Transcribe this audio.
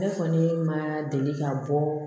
Ne kɔni ma deli ka bɔ